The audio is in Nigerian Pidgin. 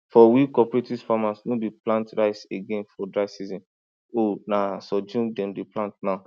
for we cooperative farmers no dey plant rice again for dry season o na sorghum dem dey plant now